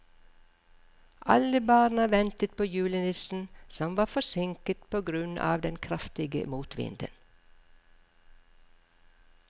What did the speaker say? Alle barna ventet på julenissen, som var forsinket på grunn av den kraftige motvinden.